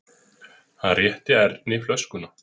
Hann rétti Erni flöskuna.